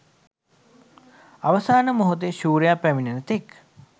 අවසාන මොහොතේ ශූරයා පැමිනෙන තෙක්